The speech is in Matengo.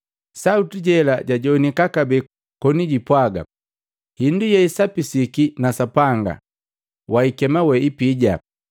Sauti jela jajowanika kabee koni jumpwagi, “Hindu yeisapisiki na Sapanga wahikema ipija!”